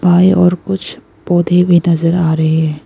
बाएं ओर कुछ पौधे भी नजर आ रहे हैं।